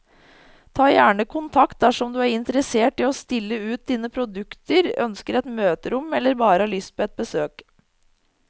Ta gjerne kontakt dersom du er interessert i å stille ut dine produkter, ønsker et møterom eller bare har lyst på et besøk.